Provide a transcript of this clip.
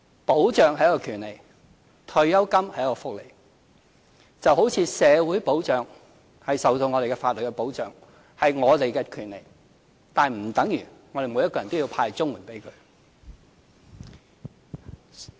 保障是權利，退休金是福利，就好像社會保障我們受法津的保障，是我們的權利，但不等於我們要向每一個人"派發"綜合社會保障援助。